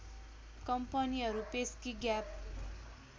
कम्पनीहरू Pepsi gap